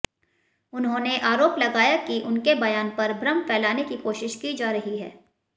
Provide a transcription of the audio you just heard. उन्होंने आरोप लगाया कि उनके बयान पर भ्रम फैलाने की कोशिश की जा रही है